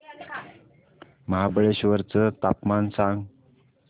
महाबळेश्वर चं तापमान सांग